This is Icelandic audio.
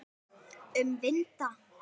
Um vinda.